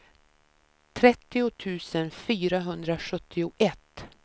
trettio tusen fyrahundrasjuttioett